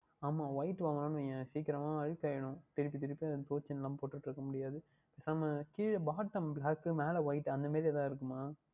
ஆமாம் White வாங்கினால் என்றாலே சீக்கிரம் அலுக்கு ஆகிவிடும் திருப்பி திருப்பி போட்டுகொண்டு இருக்க முடியாது பேசாமல் Shoe வில் Bottom Black மேல்அந்த மாதிரி எதாவுது இருக்குமா